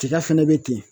Tiga fɛnɛ bɛ ten